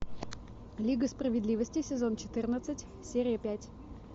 лига справедливости сезон четырнадцать серия пять